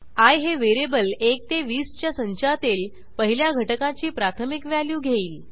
I हे variable 1 ते 20च्या संचातील पहिल्या घटकाची प्राथमिक व्हॅल्यू घेईल